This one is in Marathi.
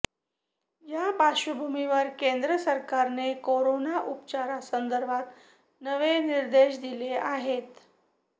या पार्श्वभूमीवर केंद्र सरकारने कोरोना उपचारासंदर्भात नवे निर्देश दिले आहेत